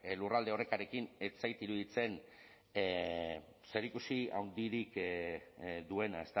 lurralde orekarekin ez zait iruditzen zerikusi handirik duena